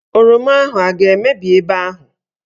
Oroma ahụ aga-emebi ebe ahụ?